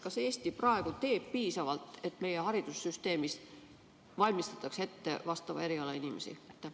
Kas Eesti praegu teeb piisavalt, et meie haridussüsteemis valmistataks ette vastava eriala inimesi?